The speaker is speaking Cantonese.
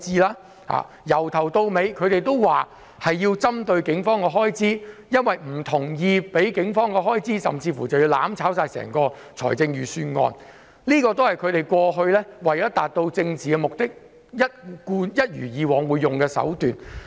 他們由始至終也表示要針對警方的開支，甚至為了不給予警方任何開支而試圖"攬炒"整份預算案，這亦是他們為了達到政治目的而採用的慣常手法。